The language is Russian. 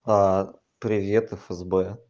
а привет фсб